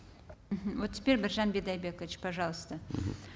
мхм вот теперь біржан бидайбекович пожалуйста мхм